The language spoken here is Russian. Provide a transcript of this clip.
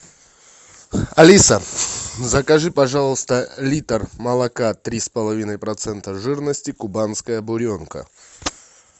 алиса закажи пожалуйста литр молока три с половиной процента жирности кубанская буренка